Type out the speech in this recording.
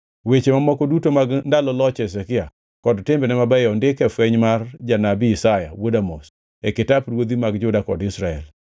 Weche mamoko duto mag ndalo loch Hezekia kod timbene mabeyo ondiki e fweny mar janabi Isaya wuod Amoz e kitap ruodhi mag Juda kod Israel.